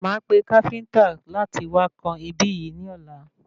Máa pe káfíntà láti wá kan ibí yìí ní ọ̀la